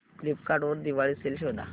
Flipkart वर Diwali sale शोधा